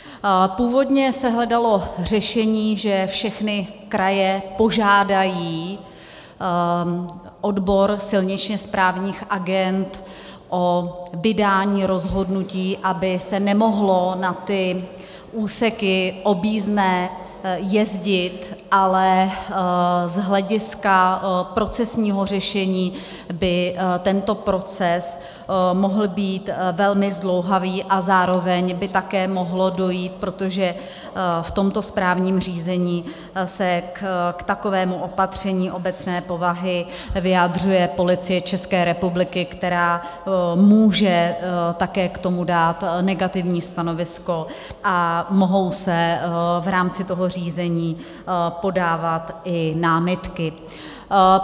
Původně se hledalo řešení, že všechny kraje požádají odbor silničně správních agend o vydání rozhodnutí, aby se nemohlo na ty úseky objízdné jezdit, ale z hlediska procesního řešení by tento proces mohl být velmi zdlouhavý a zároveň by také mohlo dojít, protože v tomto správním řízení se k takovému opatření obecné povahy vyjadřuje Policie České republiky, která může také k tomu dát negativní stanovisko a mohou se v rámci toho řízení podávat i námitky.